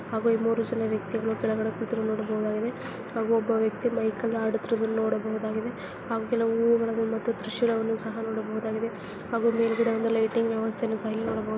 ಹಾಗು ಈ ಮೂರು ವ್ಯಕ್ತಿಗಳು ಕೆಳಗಡೆ ಕೂತುಕೊಂಡಿರುವುದನ್ನು ನೋಡಬಹುದಾಗಿದೆ ಹಾಗೂ ಒಬ್ಬ ವ್ಯಕ್ತಿ ಮೈಕ್ ಅಲ್ಲಿ ಹಾಡುತ್ತಿರುವುದನ್ನು ನೋಡಬಹುದಾಗಿದೆ. ಹಾಗೆ ಕೆಲವು ಹೂ ವುಗಳನ್ನು ಮತ್ತು ದೃಶ್ಯಗಳನ್ನು ಸಹ ನೋಡಬಹುದಾಗಿದೆ ಹಾಗೂ ಮೇಲುಗಡೆ ಒಂದು ಲೈಟಿಂಗ್ ವ್ಯವಸ್ಥೆ ಯನ್ನು ಸಹ ಇಲ್ಲಿ ನೋಡಬಹುದು.